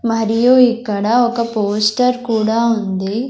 మరియు ఇక్కడ ఒక పోస్టర్ కూడా ఉంది.